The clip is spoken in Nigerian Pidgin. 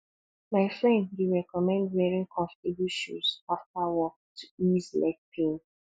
my friend dey recommend wearing comfortable shoes after work to ease leg pain